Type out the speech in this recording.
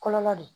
Kɔlɔlɔ de ye